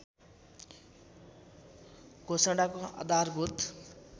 घोषणाको आधारभूत